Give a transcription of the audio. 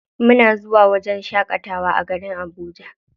Muna zuwa wajen shaƙatawa a garin Abuja.